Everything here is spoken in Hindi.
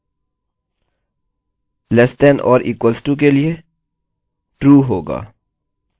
false होगा less than छोटा या equal to बराबर के लिए true होगा